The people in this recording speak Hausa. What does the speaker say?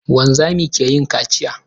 Wanzami ke yin kaciya.